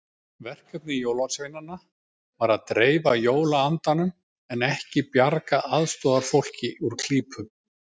Verkefni jólasveinanna var að dreifa jólaandanum en ekki bjarga aðstoðarfólki úr klípu.